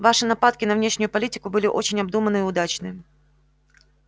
ваши нападки на внешнюю политику были очень обдуманны и удачны